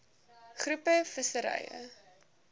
groep visserye